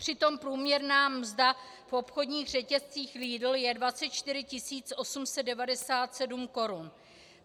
Přitom průměrná mzda v obchodních řetězcích Lidl je 24 897 korun.